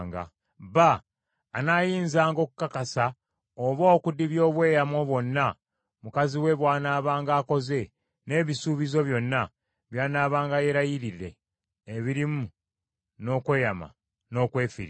Bba anaayinzanga okukakasa oba okudibya obweyamo bwonna mukazi we bw’anaabanga akoze n’ebisuubizo byonna by’anaabanga yeerayiridde ebirimu n’okwerumya n’okwefiiriza.